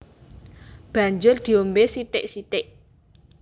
Banjur diombé sithik sithik